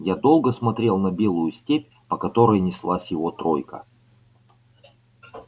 я долго смотрел на белую степь по которой неслась его тройка